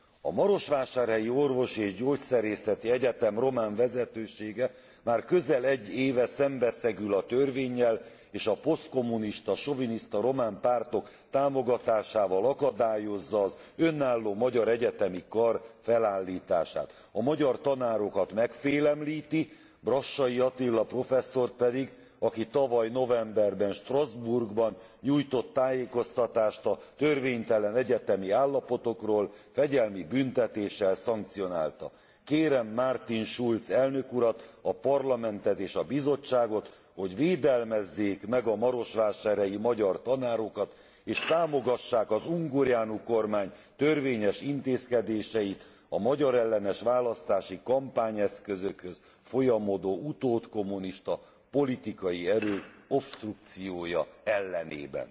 A Marosvásárhelyi Orvosi és Gyógyszerészeti Egyetem román vezetősége már közel egy éve szembeszegül a törvénnyel és a posztkommunista, soviniszta román pártok támogatásával akadályozza az önálló magyar egyetemi kar felállítását. A magyar tanárokat megfélemlíti, Brassai Attila professzort pedig, aki tavaly novemberben, Strasbourgban nyújtott tájékoztatást a törvénytelen egyetemi állapotokról, fegyelmi büntetéssel szankcionálta. Kérem Martin Schulz elnök urat, a Parlamentet és a Bizottságot, hogy védelmezzék meg a marosvásárhelyi magyar tanárokat és támogassák az Ungureanu kormány törvényes intézkedéseit a magyarellenes választási kampányeszközökhöz folyamodó utódkommunista politikai erő obstrukciója ellenében.